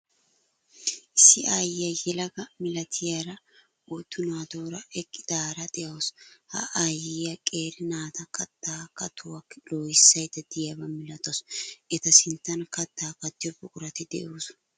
Issi aayyiya yelaga milatiyara oyddu naatuura eqqidaara de'awuus. Ha aayyiya qeeri naata kattaa katuwa loohissaydda de'iyaba milatawwus eta sinttan kattaa kattiyo buqurati de'oosona.